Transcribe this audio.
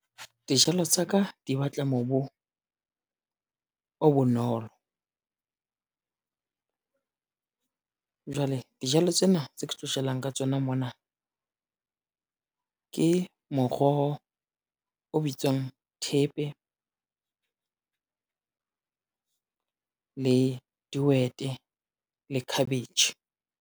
Dijalo tsa ka di batla mobu, o bonolo. Jwale dijalo tsena tse ke tlo jalang ka tsona mona, ke moroho o bitswang thepe, le dihwete le cabbage.